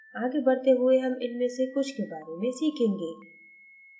आगे बढ़ते हुए हम इनमें से कुछ के बारे में सीखेंगे